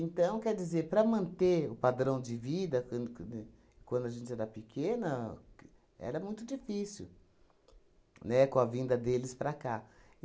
Então, quer dizer, para manter o padrão de vida, quan quan né quando a gente era pequena q, era muito difícil, né, com a vinda deles para cá.